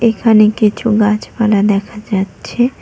এখানে কিছু গাছপালা দেখা যাচ্ছে।